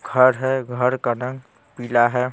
घर हैं घर का रंग पीला हैं।